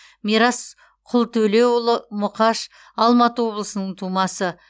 мирас құлтөлеуұлы мұқаш алматы облысының тумасы